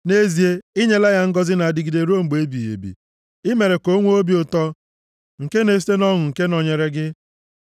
Nʼezie, i nyela ya ngọzị na-adịgide ruo mgbe ebighị ebi, i mere ka o nwee obi ụtọ nke na-esite nʼọṅụ nke nọnyere gị.